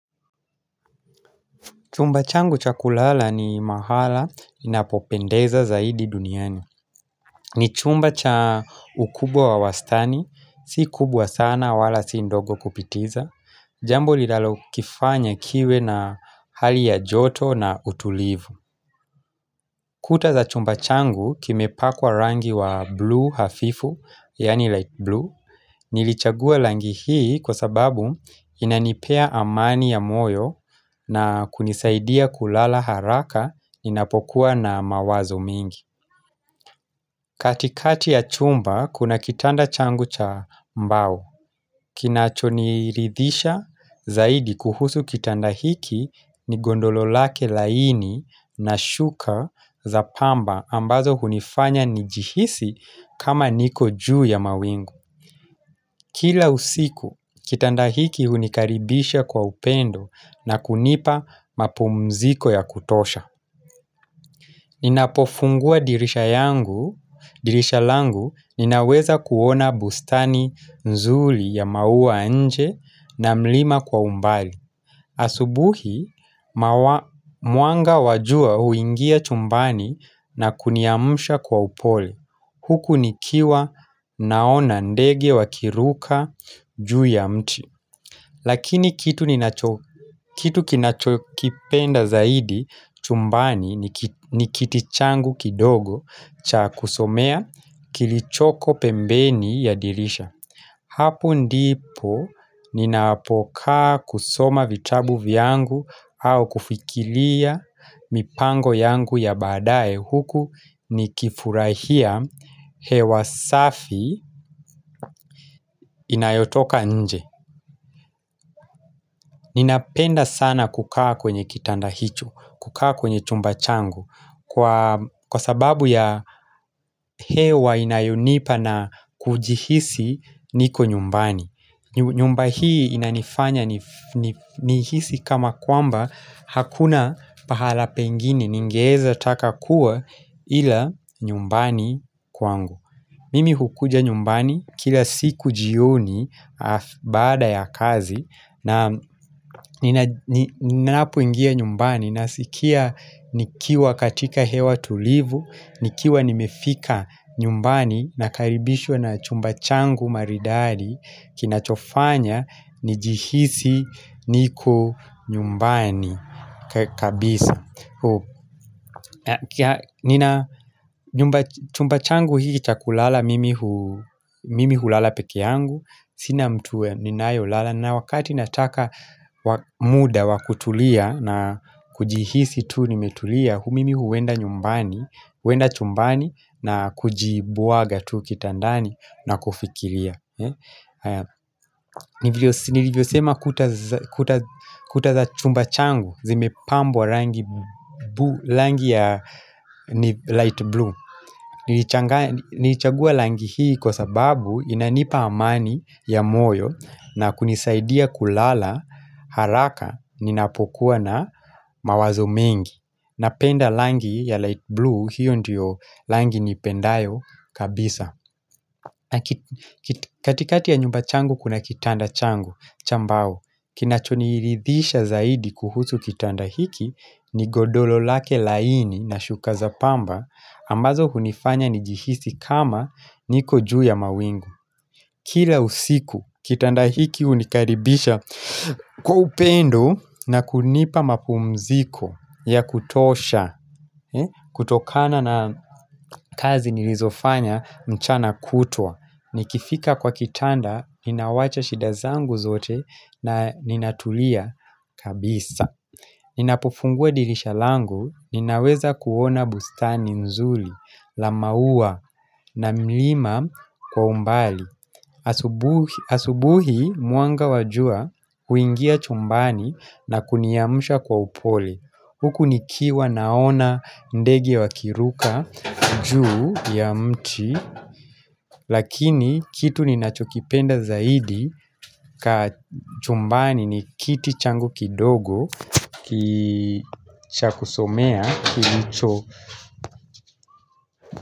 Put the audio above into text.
Chumba changu cha kulala ni mahala inapopendeza zaidi duniani ni chumba cha ukubwa wa wastani, si kubwa sana wala si ndogo kupitiza Jambo linalokifanya kiwe na hali ya joto na utulivu Kuta za chumba changu kimepakwa rangi wa blue hafifu, yaani light blue Nilichagua langi hii kwa sababu inanipea amani ya moyo na kunisaidia kulala haraka ninapokuwa na mawazo mingi katikati ya chumba kuna kitanda changu cha mbao Kinachoniridhisha zaidi kuhusu kitanda hiki ni gondolo lake laini na shuka za pamba ambazo hunifanya nijihisi kama niko juu ya mawingu Kila usiku, kitanda hiki hunikaribisha kwa upendo na kunipa mapumziko ya kutosha. Ninapofungua dirisha yangu, dirisha langu, ninaweza kuona bustani nzuli ya maua ya nje na mlima kwa umbali. Asubuhi, mwanga wa jua huingia chumbani na kuniamsha kwa upole. Huku nikiwa naona ndege wakiruka juu ya mti. Lakini kitu kinachokipenda zaidi chumbani ni kiti changu kidogo cha kusomea kilichoko pembeni ya dirisha. Hapo ndipo ninapokaa kusoma vitabu vyangu au kufikilia mipango yangu ya baadaye huku nikifurahia hewa safi inayotoka nje. Ninapenda sana kukaa kwenye kitanda hicho, kukaa kwenye chumba changu kwa sababu ya hewa inayonipa na kujihisi niko nyumbani. Nyumba hii inanifanya nihisi kama kwamba hakuna pahala pengine ningeeza taka kuwa ila nyumbani kwangu. Mimi hukuja nyumbani kila siku jioni baada ya kazi na ninapoingia nyumbani nasikia nikiwa katika hewa tulivu, nikiwa nimefika nyumbani nakaribishwa na chumba changu maridari kinachofanya njihisi niko nyumbani kabisa. Nina chumba changu hii cha kulala mimi hulala peke yangu Sina mtu ninayolala nae wakati nataka muda wa kutulia na kujihisi tu nimetulia Mimi huenda chumbani na kujibwaga tu kitandani na kufikiria Nilivyosema kuta za chumba changu Zimepambwa rangi ya light blue Nilichagua rangi hii kwa sababu inanipa amani ya moyo na kunisaidia kulala haraka ninapokuwa na mawazo mengi Napenda rangi ya light blue hiyo ndiyo rangi nipendayo kabisa katikati ya nyumba changu kuna kitanda changu cha mbao Kinachoniridhisha zaidi kuhusu kitanda hiki ni godolo lake laini na shuka za pamba ambazo hunifanya nijihisi kama niko juu ya mawingu Kila usiku, kitanda hiki hunikaribisha Kwa upendo na kunipa mapumziko ya kutosha kutokana na kazi nilizofanya mchana kutwa Nikifika kwa kitanda, ninawacha shida zangu zote na ninatulia kabisa Ninapofungua dirisha langu, ninaweza kuona bustani nzuli, la maua na mlima kwa umbali asubuhi mwanga wa jua huingia chumbani na kuniamsha kwa upole Huku nikiwa naona ndege wakiruka juu ya mti Lakini kitu ninachokipenda zaidi ka chumbani ni kiti changu kidogo ki cha kusomea kilicho.